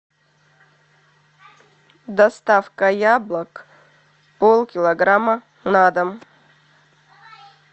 доставка яблок пол килограмма на дом